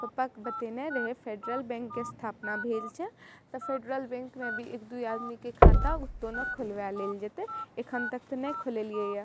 पप्पा के बतएने रहे फेडरल बैंक के स्थापना भेल छै तो फेडरल बैंक में भी एक दू आदमी के खाता उतो ने खुलवा लेल जएते एखन तक ते ने खुलवेलइए ये।